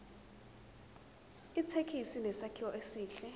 ithekisi inesakhiwo esihle